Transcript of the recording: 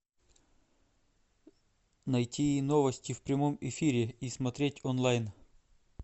найти новости в прямом эфире и смотреть онлайн